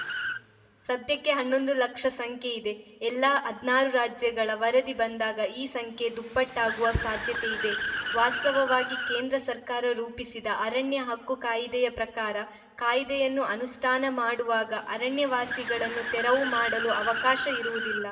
ಸದ್ಯಕ್ಕೆ ಹನ್ನೊಂದು ಲಕ್ಷ ಸಂಖ್ಯೆಯಿದೆ ಎಲ್ಲಾ ಹದ್ನಾರು ರಾಜ್ಯಗಳ ವರದಿ ಬಂದಾಗ ಈ ಸಂಖ್ಯೆ ದುಪ್ಪಟ್ಟಾಗುವ ಸಾಧ್ಯತೆ ಇದೆ ವಾಸ್ತವವಾಗಿ ಕೇಂದ್ರ ಸರ್ಕಾರ ರೂಪಿಸಿದ ಅರಣ್ಯ ಹಕ್ಕು ಕಾಯಿದೆಯ ಪ್ರಕಾರ ಕಾಯಿದೆಯನ್ನು ಅನುಷ್ಠಾನ ಮಾಡುವಾಗ ಅರಣ್ಯ ವಾಸಿಗಳನ್ನು ತೆರವು ಮಾಡಲು ಅವಕಾಶ ಇರುವುದಿಲ್ಲ